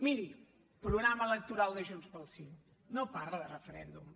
miri programa electoral de junts pel sí no parla de referèndum